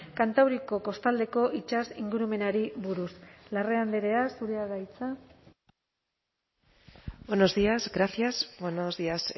kantauriko kostaldeko itsas ingurumenari buruz larrea andrea zurea da hitza buenos días gracias buenos días